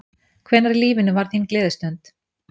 Hvenær í lífinu var þín gleðistund?